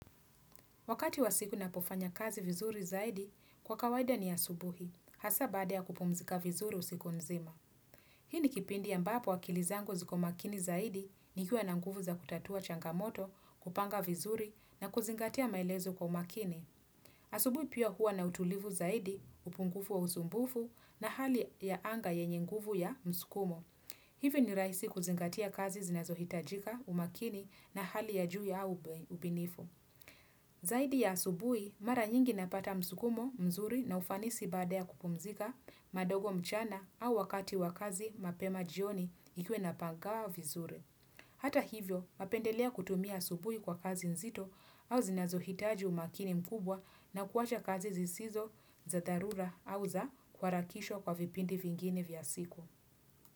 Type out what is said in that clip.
Wakati wa siku na pofanya kazi vizuri zaidi, kwa kawaida ni asubuhi, hasa bada ya kupumzika vizuri usiku mzima. Hii ni kipindi ambapo akilizangu ziko makini zaidi nikua na nguvu za kutatua changamoto, kupanga vizuri na kuzingatia malezo kwa umakini. Asubuhi pia huwa na utulivu zaidi, upungufu wa usumbufu na hali ya anga yenye nguvu ya mskumo. Hivyo ni raisi kuzingatia kazi zinazohitajika umakini na hali ya juu ya ubinifu. Zaidi ya asubui, mara nyingi napata msukumo mzuri na ufanisi badea kupumzika kidogo mchana au wakati wakazi mapema jioni ikiwa inapangwa vizuri. Hata hivyo, napendelea kutumia asubui kwa kazi nzito au zinazohitaji umakini mkubwa na kuacha kazi zisizo za dharura au za kuarakishwa kwa vipindi vingini vya siku.